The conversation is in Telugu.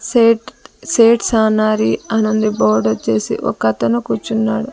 సేట్ సేట్స్ సనారి అని ఉంది బోర్డు వచ్చేసి ఒకతను కూర్చున్నాడు.